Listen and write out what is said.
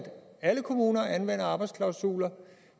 alle kommuner anvender arbejdsklausuler